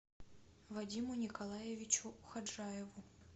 вадиму николаевичу ходжаеву